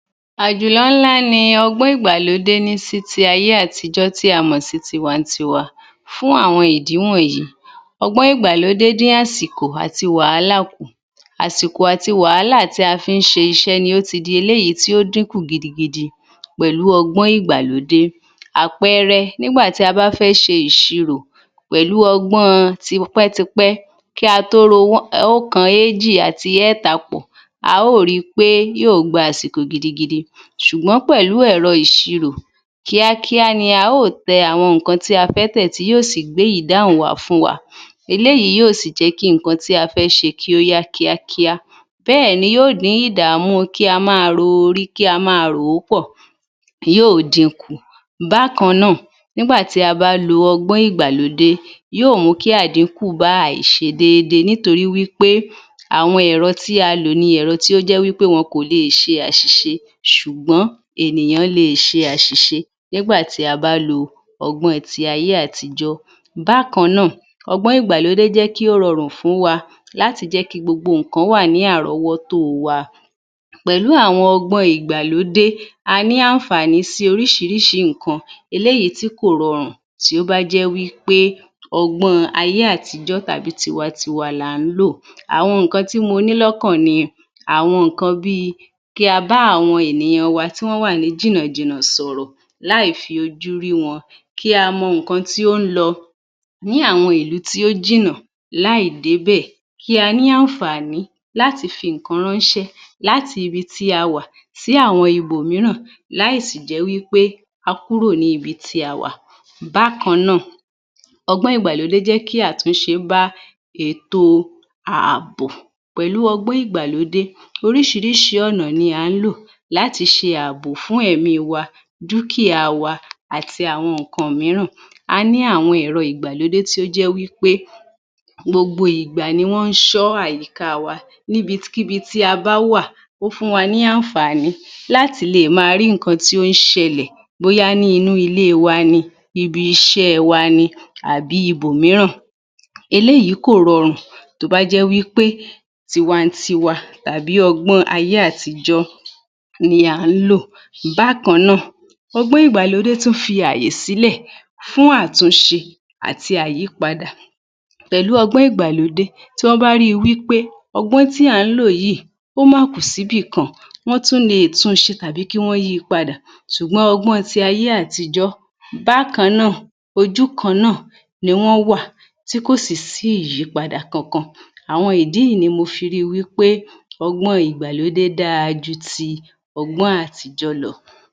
Àjùlọ ńlá ni ọgbọ́n ìgbàlódé ní sí ti ayé àtijọ́ tí a mọ̀ sí ní tiwa n tiwa fún àwọn ìdí wọ̀nyí. Ọgbọn ìgbàlódé dín àsìkò àti wàálà kù. Àsìkò àti wàálà tí a fi ń ṣe iṣẹ́ nió ti di eléyìí tí ó dínkù gidigidi pẹ̀lú Ọgbọ́n ìgbàlódé. Àpẹẹrẹ, nígbà tí a bá fẹ́ ṣe ìṣirò pẹ̀lú ọgbọ́n ọn tipẹ́tipẹ́, kí a tó ro Wọ́n, oókan eéjì àti ẹẹ́ta pọ̀, a ó ri pé yóò gba àsìkò gidigidi, ṣùgbọ́n pẹ̀lú ẹ̀rọ ìṣirò, kíákíá ni a ó ò tẹ àwọn ǹkan tí á fẹ́ tẹ̀ ti yóò sì gbé ìdáhùn wá fún wa. Eléyìí yóò sì jẹ́ kí ǹkan tí a fẹ́ ṣe kí ó yá kíákíá, bẹ́ẹ̀ni yóò dín ìdàmú un kí a máa ro orí kí a máa rò ó pọ̀ tí yóò din kù. Bákan náà, nígbà tí a bá lo ọgbọ́n ìgbàlódé, yóò mú kí àdínkù bá àìṣe déédéé nítorí wí pé àwọn ẹ̀rọ tí a lò ni ẹ̀rọ tó jẹ́ wí pé wọn kò le è ṣe àṣìṣé, ṣùgbọ́n ènìyàn le è ṣe àṣìṣe nígbà tí a bá lo ọgbọ́n ọn ti ayé àtijọ́ Bákan náà, ọgbọ́n ìgbàlódé jẹ́ kí ó rọrùn fún wa láti jé kí gbogbo ǹkan wà ní àrọ́wọ́tó o wa. Pẹ̀lú àwọn ọgbọ́n ọn ìgbàlódé, a ní ànfàní sí orísìírísìí ǹkan eléyìí tí kò rọrùn tí ó bá jé wí pé ọgbọ́n ọn ayé àtijọ́ tàbí tiwa tiwa là ń lò. Àwọn ǹkan tí mo ní ní àwọn ǹkan bíi, kí a bá àwọn ènìyàn an wa ti wọ́n wà ní jìnàjìnà sọ̀rọ̀ láì fi ojú rí àwọn wọn, kí a mọ ǹkan tí ó ń lọ ní àwọn ìlú tí ó jìnnà láì dé bẹ̀, kí a ní ànfàní láti fi ǹkan ránṣẹ́ láti bi tí a wà, sí àwọn ibòmíràn láì sì jẹ́ wí pé a kúrò níbi tí a wà. Bákan náà, ọgbọ́n ìgbàlódé jẹ́ kí àtúnṣe bá ètò ààbò. Pẹ̀lú ọgbọ́n ìgbàlódé, orísìírísìí ọ̀nà ni à ń lò láti ṣe ààbò fún ẹmí i wa, dúkìá a wa àti àwọn ǹkan mìíràn. A ní àwọn ẹ̀rọ ìgbàlódé tí ó jẹ́ wí pé gbogbo ìgbà ni wọ́n ń ṣọ́ àyíká a wa. Níbikíbi tí a bá wà, ó fún wa ní ànfàní láti le è máa rí ǹkan tí ó ń ṣẹlẹ̀, bóyá ní inú ilé e wa ni, ibi iṣẹ́ ẹ wa ni àbí ibòmíràn. Eléyìí kò rọrùn tó bá jẹ́ wí pé tiwantiwa tàbí ọgbọ́n ọn tí ayé àtijọ́ ni à ń lò. Bákan náà, ọgbọ́n ìgbàlódé tún fi àyè sílẹ̀ fún àtúnṣe àti àyípadà. Pẹ̀lú ọgbọ́n ìgbàlódé, tí wọ́n bá rí i wí pé ọgbọ́n tí à ń lò yìí ó máa kù síbì kan, wọ́n tún le è tun ṣe tàbí kí wọ́n yìí padà, ṣùgbọ́n ọgbọ́n ọn ti ayé àtijọ́, bákan náà, ojú kan náà ni wọ́n wà, tí kò sì sí ìyípadà kankan. Àwọn ìdí yìí ni mo fi ríi wí pé ọgbọ́n ọn ìgbàlódé dára ju ti ọgbọ́n àtijó lọ.